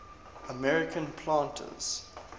american planters